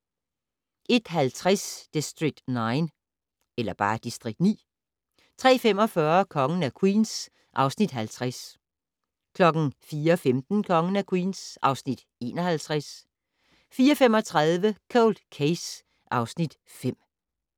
01:50: District 9 03:45: Kongen af Queens (Afs. 50) 04:15: Kongen af Queens (Afs. 51) 04:35: Cold Case (Afs. 5)